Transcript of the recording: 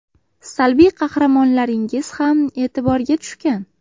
Salbiy qahramonlaringiz ham e’tiborga tushgan.